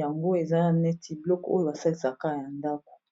yango eza neti biloko oyo basalisaka ya ndako.